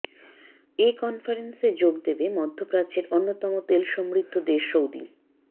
এ কনফারেন্সে যোগ দেবে মধ্যপ্রাচ্যের অন্যতম তেল সমৃদ্ধ দেশ সৌদি